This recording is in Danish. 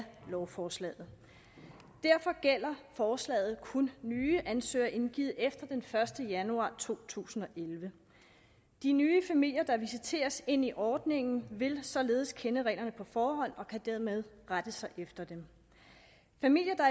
lovforslaget derfor gælder forslaget kun nye ansøgninger indgivet efter den første januar to tusind og elleve de nye familier der visiteres ind i ordningen vil således kende reglerne på forhånd og kan dermed rette sig efter dem familier der